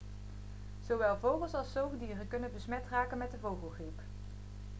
zowel vogels al zoogdieren kunnen besmet raken met de vogelgriep